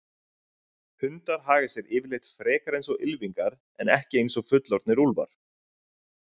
Hundar haga sér yfirleitt frekar eins og ylfingar en ekki eins og fullorðnir úlfar.